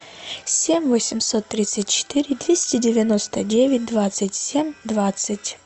семь восемьсот тридцать четыре двести девяносто девять двадцать семь двадцать